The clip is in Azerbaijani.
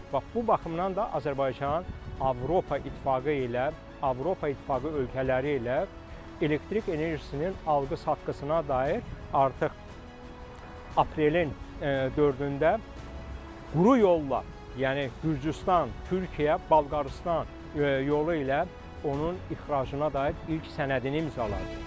Bax bu baxımdan da Azərbaycan Avropa İttifaqı ilə, Avropa İttifaqı ölkələri ilə elektrik enerjisinin alqı-satqısına dair artıq aprelin dördündə quru yolla, yəni Gürcüstan, Türkiyə, Balqaristan yolu ilə onun ixracına dair ilk sənədini imzaladı.